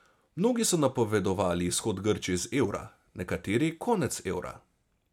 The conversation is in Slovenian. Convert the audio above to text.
Mnogi so napovedovali izhod Grčije iz evra, nekateri konec evra.